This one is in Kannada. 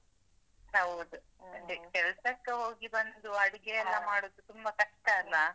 ಹೌದು ಅದೇ ಕೆಲಸಕ್ಕೆ ಹೋಗಿ ಬಂದು ಅಡುಗೆ ಎಲ್ಲ ಮಾಡುದು ತುಂಬಾ ಕಷ್ಟ ಅಲ್ಲಾ?